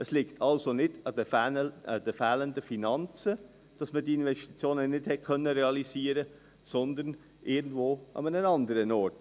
Es liegt also nicht an den fehlenden Finanzen, dass man die Investitionen nicht realisieren konnte, sondern an irgendeinem anderen Ort.